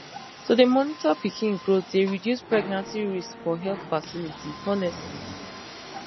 to dey monitor pikin growth dey reduce pregnancy risks for health facilities honestly